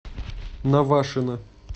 навашино